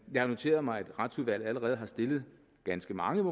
har noteret mig at retsudvalget allerede har stillet ganske mange